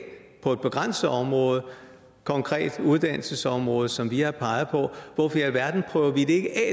på et begrænset område konkret uddannelsesområdet som vi har peget på hvorfor i alverden prøver vi det